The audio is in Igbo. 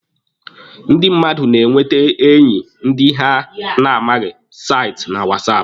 Ndị mmadụ na-enwete enyi ndị ha na-amaghị site na whatsApp.